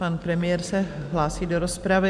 Pan premiér se hlásí do rozpravy.